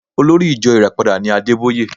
Olórí ìjo Ìràpadà ni Adébóyè